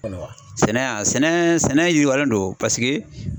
sɛnɛ wa sɛnɛ yiriwalen don paseke